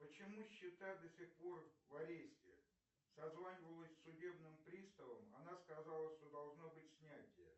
почему счета до сих пор в аресте созванивалась с судебным приставом она сказала что должно быт снятие